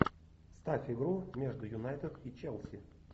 ставь игру между юнайтед и челси